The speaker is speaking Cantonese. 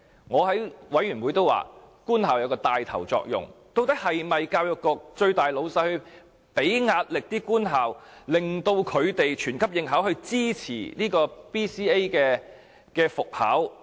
我在事務委員會也曾指出，究竟是否教育局高層向官校施加壓力，令到官校牽頭以全級應考來支持 BCA 復考？